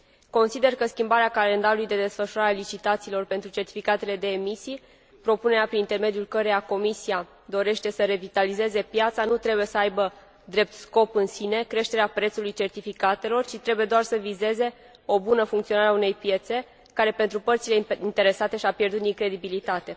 Consider că schimbarea calendarului de desfășurare a licitațiilor pentru certificatele de emisii propunerea prin intermediul căreia Comisia dorește să revitalizeze piața nu trebuie să aibă drept scop în sine creșterea prețului certificatelor, ci trebuie doar să vizeze o bună funcționare a unei piețe care, pentru părțile interesate, și a pierdut din credibilitate.